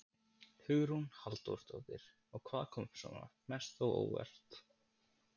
Hugrún Halldórsdóttir: Og hvað kom svona mest á óvart?